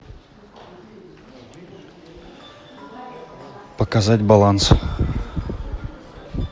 показать баланс